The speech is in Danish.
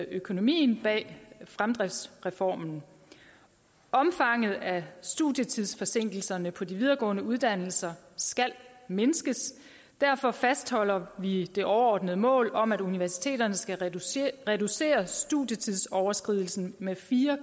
økonomien bag fremdriftsreformen omfanget af studietidsforsinkelserne på de videregående uddannelser skal mindskes derfor fastholder vi det overordnede mål om at universiteterne skal reducere reducere studietidsoverskridelsen med fire